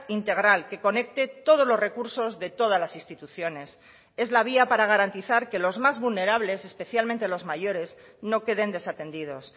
integral que conecte todos los recursos de todas las instituciones es la vía para garantizar que los más vulnerables especialmente los mayores no queden desatendidos